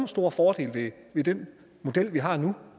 store fordele ved den model vi har nu